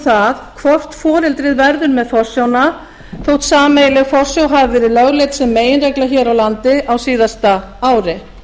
það hvort foreldrið verður með forsjána þótt sameiginleg forsjá hafi verið lögleidd sem meginregla hér á landi á síðasta ári